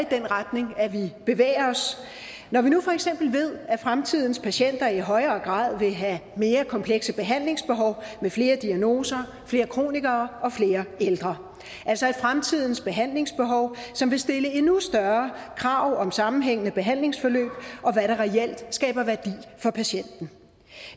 den retning vi bevæger os når vi nu for eksempel ved at fremtidens patienter i højere grad vil have mere komplekse behandlingsbehov med flere diagnoser flere kronikere og flere ældre altså fremtidens behandlingsbehov som vil stille endnu større krav om sammenhængende behandlingsforløb og hvad der reelt skaber værdi for patienten